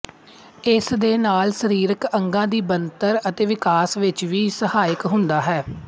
ਇਸ ਦੇ ਨਾਲ ਸਰੀਰਕ ਅੰਗਾਂ ਦੀ ਬਣਤਰ ਅਤੇ ਵਿਕਾਸ ਵਿੱਚ ਵੀ ਸਹਾਇਕ ਹੁੰਦਾ ਹੈ